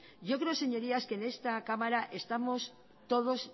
yo creo señorías que en esta cámara estamos todos